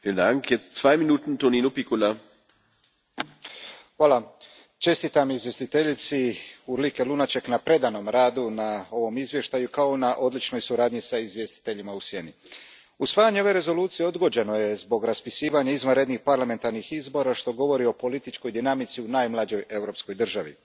Gospodine predsjedniče, čestitam izvjestiteljici Urlike Lunacek na predanom radu na ovom izvješću kao i na odličnoj suradnji s izvjestiteljima u sjeni. Usvajanje ove Rezolucije odgođeno je zbog raspisivanja izvanrednih parlamentarnih izbora, što govori o političkoj dinamici u najmlađoj europskoj državi.